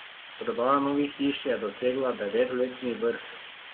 Prodaja novih hiš je dosegla devetletni vrh.